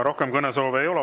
Rohkem kõnesoove ei ole.